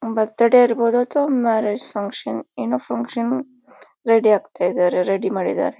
ಬರ್ತ್ day ಇರಬಹುದು ಅಥವಾ marriage function ಏನೋ ಫಂಕ್ಷನ್ ರೆಡಿ ಆಗ್ತಾ ಇದಾರೆ ರೆಡಿ ಮಾಡಿದ್ದಾರೆ.